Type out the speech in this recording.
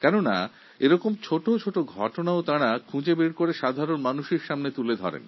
কারণ তাঁরাই এরকম ছোটো কিন্তু ভালো কাজগুলি খুঁজে বার করে জনগণের সামনে তুলে ধরে